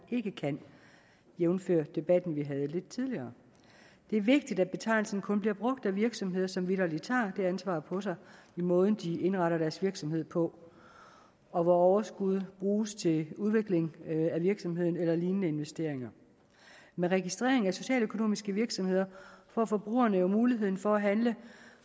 ikke kan jævnfør den debat vi havde lidt tidligere det er vigtigt at betegnelsen kun bliver brugt af virksomheder som vitterlig tager det ansvar på sig i måden de indretter deres virksomhed på og hvor overskuddet bruges til udvikling af virksomheden eller lignende investeringer med registreringen af socialøkonomiske virksomheder får forbrugerne jo mulighed for at handle